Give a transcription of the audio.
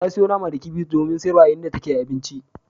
Ta sayo nama da kifi domin sayarwa a inda take sayar da abinci.